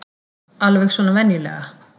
Alveg svona venjulega.